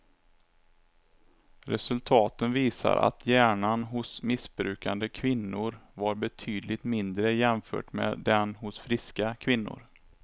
Resultaten visar att hjärnan hos missbrukande kvinnor var betydligt mindre jämfört med den hos friska kvinnor.